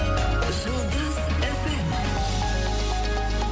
жұлдыз эф эм